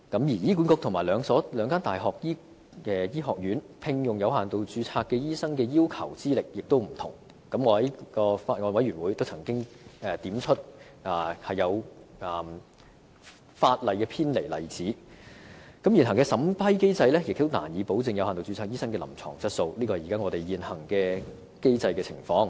醫管局和兩間大學醫學院聘用有限度註冊醫生所要求的資歷亦有不同，我在法案委員會的會議上亦曾經指出一些偏離法例的例子，而現行審批機制亦難以保證有限度註冊醫生的臨床質素，這便是我們現行機制的情況。